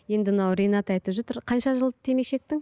енді мынау ринат айтып жатыр қанша жыл темекі шектің